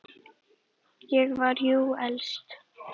Ég var jú elst.